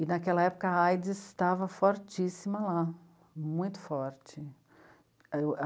E, naquela época, a á i dê sê estava fortíssima lá, muito forte.